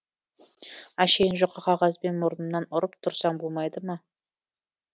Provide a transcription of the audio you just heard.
әшейін жұқа қағазбен мұрнымнан ұрып тұрсаң болмайды ма